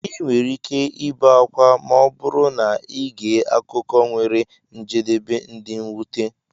ị nwere ike ibe akwa ma ọ bụrụ na ị gee akụkọ nwere njedebe dị mwute.